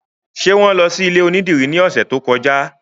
Ṣé wọn lọ sí ilé onídìrí ní ọ̀sẹ̀ tó kọjá?